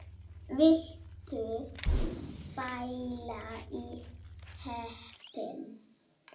Viltu pæla í heppni!